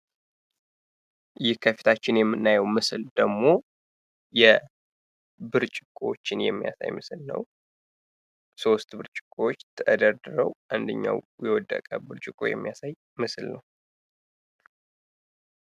ይህ ከፊታችን የምናየው ምስል ደግሞ ብርጭቆዎችን የሚያሳይ ምስል ነው ሶስት ብርጭቆዎች ተደርድረው አንደኛው የወደቀ ብርጭቆ የሚያሳይ ምስል ነው።